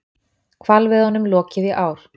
Hvalveiðunum lokið í ár